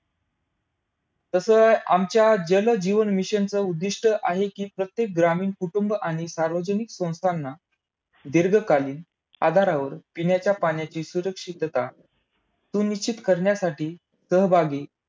तसं अं आमच्या जलजीवन मिशनच उद्दिष्ट आहे कि, प्रत्येक ग्रामीण कुटुंब आणि सार्वजनिक संस्थांना दीर्घकालीन आधारावर पिण्याच्या पाण्याची सुरक्षितता सुनिश्चित करण्यासाठी सहभागी